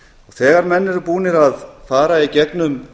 þegar menn eru búnir að fara í gegnum